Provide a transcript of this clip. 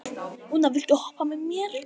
Úna, viltu hoppa með mér?